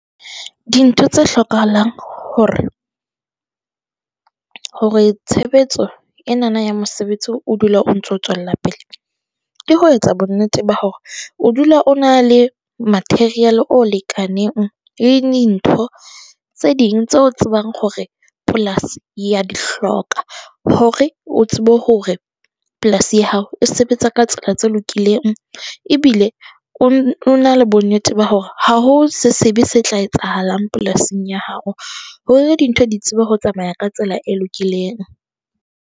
Dintho tse hlokahalang hore hore tshebetso enana ya mosebetsi o dula o ntso tswela pele. Ke ho etsa bonnete ba hore o dula o na le material o lekaneng le dintho tse ding tse o tsebang hore polasi ya di hloka, hore o tsebe hore polasi ya hao e sebetsa ka tsela tse lokileng, ebile o na le bonnete ba hore ha ho se sebe se tla etsahalang polasing ya hao, hore dintho di tsebe ho tsamaya ka tsela e lokileng.